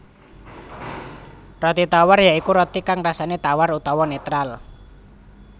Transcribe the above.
Roti tawar ya iku roti kang rasané tawar utawa netral